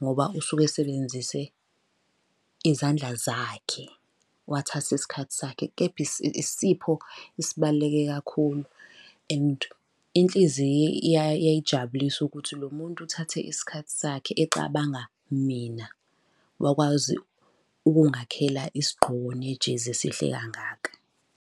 Ngoba usuke esebenzise izandla zakhe, wathatha isikhathi sakhe. Kepha isipho esibaluleke kakhulu and inhliziyo yayijabulisa ukuthi lo muntu uthathe isikhathi sakhe ecabanga mina, wakwazi ukungakhela isigqoko nejezi esihle kangaka.